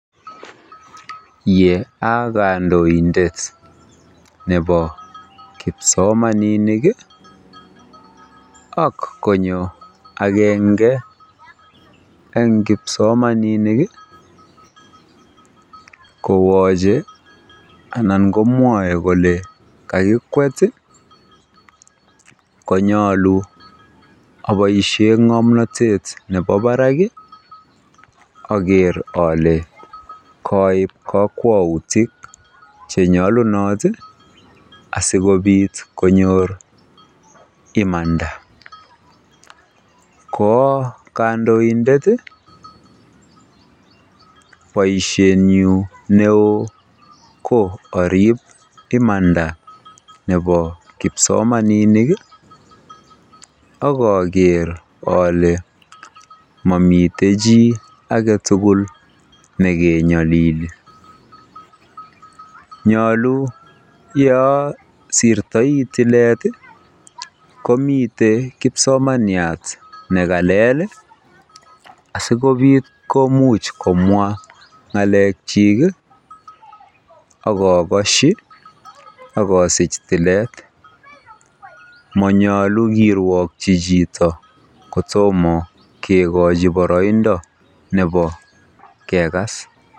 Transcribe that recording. Ye okondoindet nebo kipsomaninik ak konyo agenge en kipsomaninik kowoche ana komwoe kole kakikwet tii konyoluu oboishen ngomnotet nebo barak kii okere ole koib kokwoutit chenyolunotii sikopit konyor imanda. Ko kondoindet tii ko boishenyin neo ko irib imanda nebo kipsomaninik ak okere ole momiten chii agetukul lii nekenyolili, nyolu yosirtoi toilet tii komiten kipsomaniat nekalet lii sikopit komuch komwa ngalechik kii ak okoshi ak atill tilet. Monyolu kiruogi chito kotomo kikochi boroindo kegas